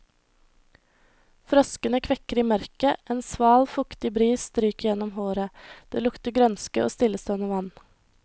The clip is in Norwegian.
Froskene kvekker i mørket, en sval, fuktig bris stryker gjennom håret, det lukter grønske og stillestående vann.